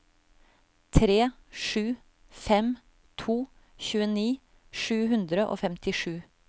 tre sju fem to tjueni sju hundre og femtisju